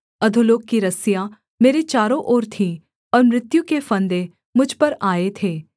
अधोलोक की रस्सियाँ मेरे चारों ओर थीं और मृत्यु के फंदे मुझ पर आए थे